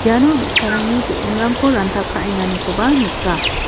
iano bi·sarangni be·enrangko ranta ka·enganikoba nika.